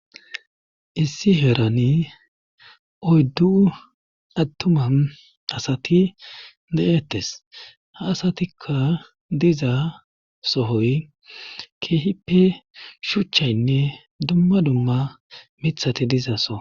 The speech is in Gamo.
issi herani oyddu attuma asati de7ettes ha asatikka diza sohoy keehippe shuchchaynne dumma dumma mithati dizaso